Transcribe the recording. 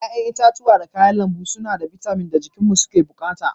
Ƴa'ƴan itãcen da kayan lambu suna da bitamin da jikinmu yake bukata.